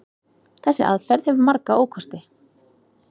Þessi aðferð hefur marga ókosti.